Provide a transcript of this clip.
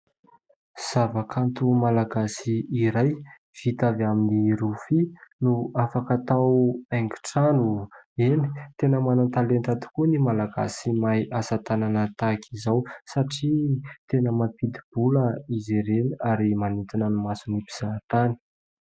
Zava-kanto Malagasy iray vita avy amin'ny rofia no afaka hatao haingon-trano eny, tena manan-talenta tokoa ny Malagasy mahay asatanana tahaka izao satria tena mampidi-bola izy ireny ary manintona ny mason'ny mpizaha tany.